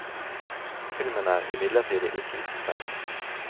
Filmen er imidlertid ikke uten feil.